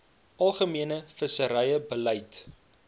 algemene visserye beleid